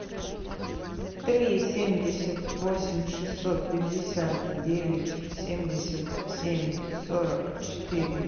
три семьдесят восемь шестьсот пятьдесят девять семьдесят семь сорок четыре